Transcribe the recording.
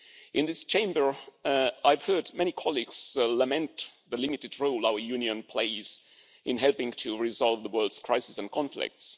so. In this Chamber, I've heard many colleagues lament the limited role our Union plays in helping to resolve the world's crisis and conflicts.